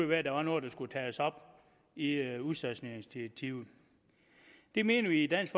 være at der var noget der skulle tages op i i udstationeringsdirektivet det mener vi i dansk